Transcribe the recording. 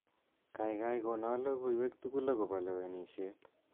Kaikai kono logoiwek tugul akobo lewenishet